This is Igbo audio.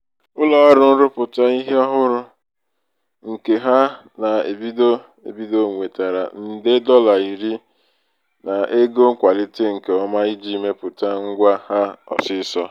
ụlọọrụ nrụpụta ihe ọhụụ nke ka na-ebido ebido nwetara nde dọla iri n'ego nkwalite nke ọma iji mepụta ngwa ha ọsịịsọ.